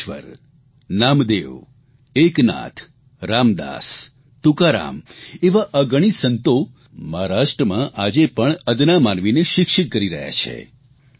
જ્ઞાનેશ્વર નામદેવ એકનાથ રામદાસ તુકારામ એવા અગણીત સંતો મહારાષ્ટ્રમાં આજે પણ અદના માનવીને શિક્ષિત કરી રહ્યા છે